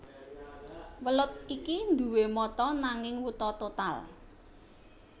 Welut iki nduwé mata nanging wuta total